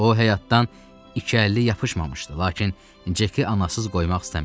O həyatdan ikili yapışmamışdı, lakin Ceki anasız qoymaq istəmirdi.